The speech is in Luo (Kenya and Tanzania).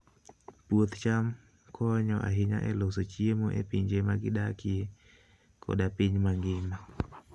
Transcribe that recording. Puoth cham konyo ahinya e loso chiemo e pinje ma gidakie koda e piny mangima.